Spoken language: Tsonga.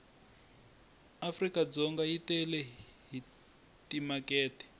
africadzonga yi tele hi timakete